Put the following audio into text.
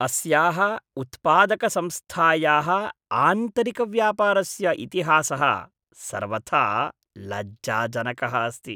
अस्याः उत्पादकसंस्थायाः आन्तरिकव्यापारस्य इतिहासः सर्वथा लज्जाजनकः अस्ति।